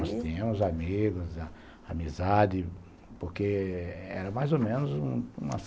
Tínhamos, tínhamos amigos, amizade, porque era mais ou menos umas